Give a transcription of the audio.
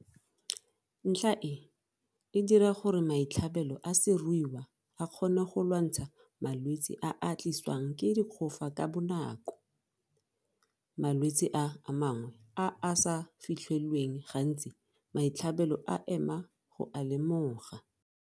Ntlha e, e dira gore maitlhabelo a seruiwa a kgone go lwantsha malwetse a a tliswang ke dikgofa ka bonako. Malwetse a mangwe a a sa fitlhelweng gantsi maitlhabelo a ema go a lemoga.